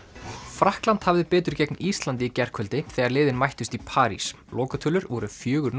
Frakkland hafði betur gegn Íslandi í gærkvöldi þegar liðin mættust í París lokatölur voru fjórir